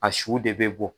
A su de bɛ bɔ